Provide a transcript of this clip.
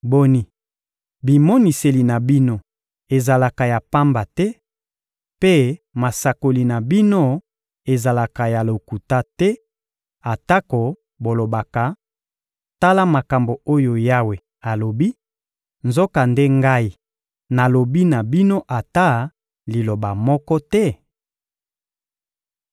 Boni, bimoniseli na bino ezalaka ya pamba te, mpe masakoli na bino ezalaka ya lokuta te, atako bolobaka: ‘Tala makambo oyo Yawe alobi,’ nzokande Ngai nalobi na bino ata liloba moko te?